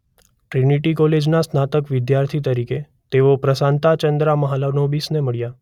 Trinity કૉલેજના સ્નાતકના વિદ્યાર્થી તરીકે તેઓ પ્રશાંતા ચંદ્રા મહાલનોબિસને મળ્યા.